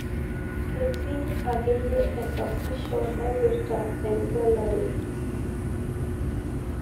ketii akeyie esasisho naipirta egelare